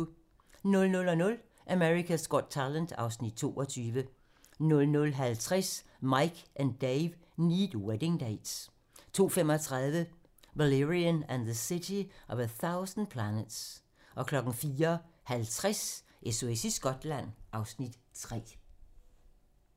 00:00: America's Got Talent (Afs. 22) 00:50: Mike and Dave Need Wedding Dates 02:35: Valerian and the City of a Thousand Planets 04:50: SOS i Skotland (Afs. 3)